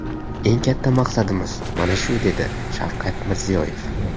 Eng katta maqsadimiz mana shu, dedi Shavkat Mirziyoyev.